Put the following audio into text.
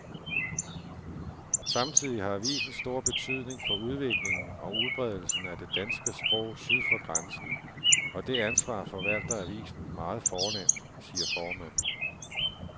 Samtidig har avisen stor betydning for udviklingen og udbredelsen af det danske sprog syd for grænsen, og det ansvar forvalter avisen meget fornemt, siger formanden.